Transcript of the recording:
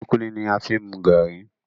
Kulikuli ni a fi n mu garri.